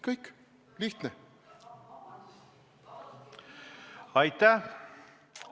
Kõik!